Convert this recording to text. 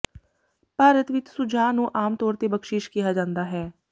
ਭਾਰਤ ਵਿੱਚ ਸੁਝਾਅ ਨੂੰ ਆਮ ਤੌਰ ਤੇ ਬਖਸ਼ੀਸ਼ ਕਿਹਾ ਜਾਂਦਾ ਹੈ